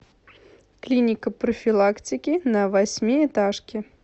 клиника профилактики на восьмиэтажке